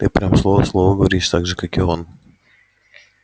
ты прям слово в слово говоришь так же как и он